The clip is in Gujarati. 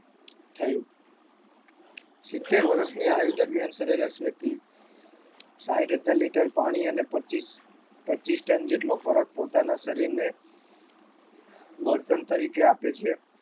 થયું સિત્તેર વર્ષની આયુ દરમિયાન સરેરાશ વ્યક્તિ સાઈઠ હજાર લીટર પાણી અને પચીસ પચીસ ટન જેટલો ખોરાક પોતાના શરીરને બળતણ તરીકે આપે છે